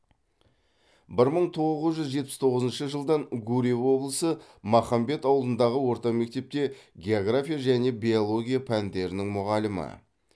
бір мың тоғыз жүз жетпіс тоғызыншы жылдан гурьев облысы махамбет ауылындағы орта мектепте география және биология пәндерінің мұғалімі